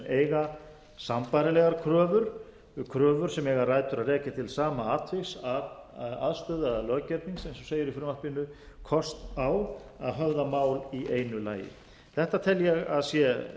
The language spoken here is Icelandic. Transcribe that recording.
eiga sambærilegar kröfur sem eiga rætur að rekja til sama atviks aðstöðu eða löggernings eins og segir í frumvarpinu kost á að höfða mál í einu lagi þetta tel ég að sé